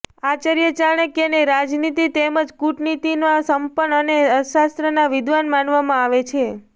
આચાર્ય ચાણક્યને રાજનીતિ તેમજ કૂટનીતિમાં સંપન્ન અને અર્થશાસ્ત્રના વિદ્વાન માનવામાં આવે છે